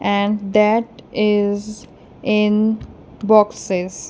and that is in boxes.